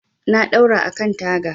Na ɗaura a kan taga.